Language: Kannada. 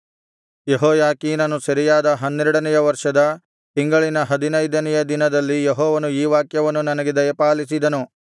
ಯೆಹೋಯಾಖೀನನು ಸೆರೆಯಾದ ಹನ್ನೆರಡನೆಯ ವರ್ಷದ ತಿಂಗಳಿನ ಹದಿನೈದನೆಯ ದಿನದಲ್ಲಿ ಯೆಹೋವನು ಈ ವಾಕ್ಯವನ್ನು ನನಗೆ ದಯಪಾಲಿಸಿದನು